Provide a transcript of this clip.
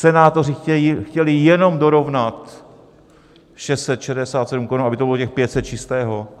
Senátoři chtěli jenom dorovnat 667 korun, aby to bylo těch 500 čistého.